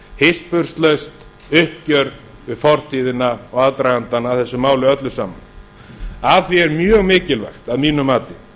hispurslaust uppgjör við fortíðina og aðdragandann að þessu máli öllu saman að því er mjög mikilvægt að mínu mati